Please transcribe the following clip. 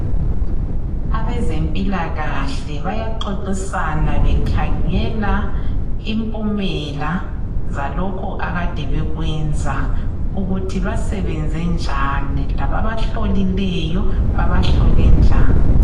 Abezempilakahle bayaxoxisana bekhangela impumela zalokho akade bekwenza ukuthi basebenze njani, lababahlolileyo babahlole njani.